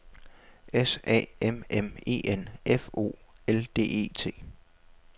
S A M M E N F O L D E T